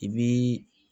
I bii